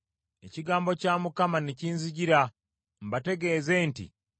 Ekigambo kya Mukama ne kinzijira, mbategeeze nti,